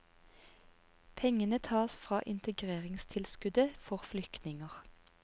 Pengene tas fra integreringstilskuddet for flyktninger.